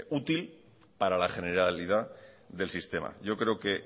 útil para la generalidad del sistema yo creo que